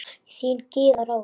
Þín, Gyða Rós.